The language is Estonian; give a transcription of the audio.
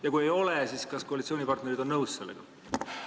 Ja kui ei ole, siis kas koalitsioonipartnerid on sellega nõus?